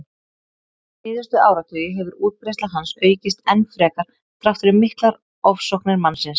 Síðustu áratugi hefur útbreiðsla hans aukist enn frekar þrátt fyrir miklar ofsóknir mannsins.